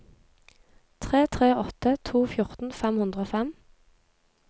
tre tre åtte to fjorten fem hundre og fem